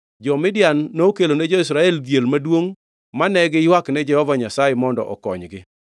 Jo-Midian nokelone jo-Israel dhier maduongʼ mane giywakne Jehova Nyasaye mondo okonygi.